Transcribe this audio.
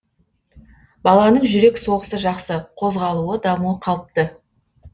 баланың жүрек соғысы жақсы қозғалуы дамуы қалыпты